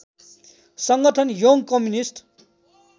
संगठन young communist